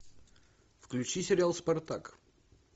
включи сериал спартак